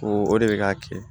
Ko o de bɛ ka kɛ